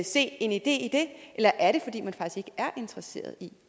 se en idé i det eller er det fordi man faktisk er interesseret i